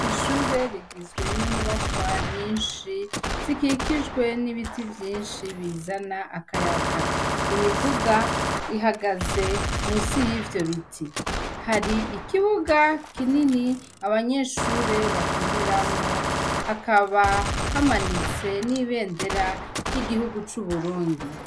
Ishure rigizwe n' inyubakwa nyinshi ,zikikijwe n' ibiti vyinshi bizana akayaga .Imiduga ihagaze munsi yivyo biti. Hari Ikibuga kinini , abanyeshure bakiniramwo ,hakaba hamanitse n' ibendera ry' igihugu c' Uburundi.